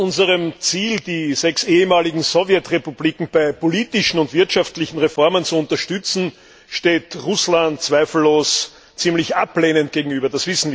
Unserem Ziel, die sechs ehemaligen Sowjetrepubliken bei politischen und wirtschaftlichen Reformen zu unterstützen, steht Russland zweifellos ziemlich ablehnend gegenüber.